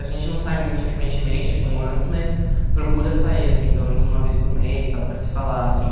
A gente não sai muito frequentemente, como antes, mas procura sair, assim, pelo menos uma vez por mês, tal, para se falar, assim.